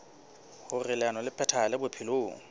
hoer leano le phethahale bophelong